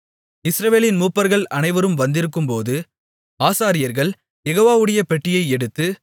இஸ்ரவேலின் மூப்பர்கள் அனைவரும் வந்திருக்கும்போது ஆசாரியர்கள் யெகோவாவுடைய பெட்டியை எடுத்து